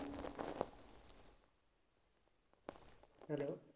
hello